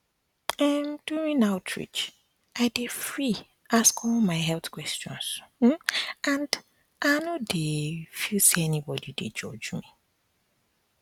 emduring outreach i dey free ask all my health questions um and um i no dey um feel say anybody dey judge me